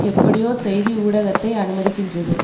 எப்படியோ செய்தி ஊடகத்தை அனுமதிக்கின்றது